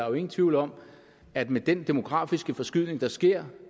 er jo ingen tvivl om at med den demografiske forskydning der sker